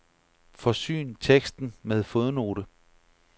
Forsyn teksten med fodnote.